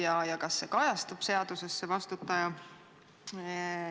Kas see vastutaja kajastub seaduses?